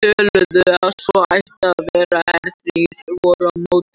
töldu að svo ætti að vera en þrír voru á móti.